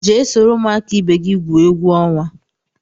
Jee soro ụmụaka ibe gị gwuo egwu ọnwa!